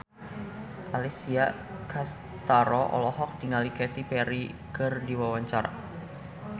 Alessia Cestaro olohok ningali Katy Perry keur diwawancara